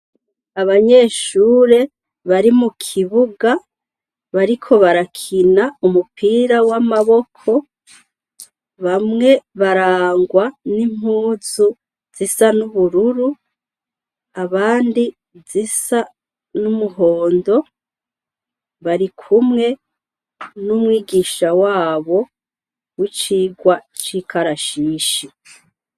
Abanyeshure bari mu kibuga bariko barakina umupira w'amaboko bamwe barangwa n'impuzu zisa n'ubururu abandi zisa n'umuhondo bari kumwe n'umwigisha wabo w'icigwa c'ikarashishi.